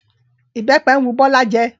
Ìbẹ́pẹ ń wu Bọ́lá jẹ